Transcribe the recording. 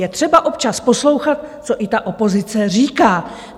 Je třeba občas poslouchat, co i ta opozice říká.